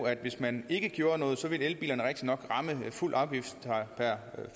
at hvis man ikke gjorde noget ville elbilerne rigtigt nok blive ramt af fuld afgift per